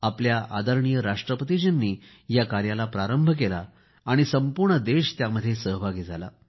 आपल्याव आदरणीय राष्ट्रपतीजींनी या कार्याला प्रारंभ केला आणि संपूर्ण देश त्याजमध्येज सहभागी झाला